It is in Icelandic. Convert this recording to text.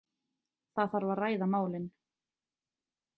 Það þarf að ræða málin.